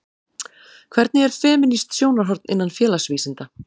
Hvernig er femínískt sjónarhorn innan félagsvísinda?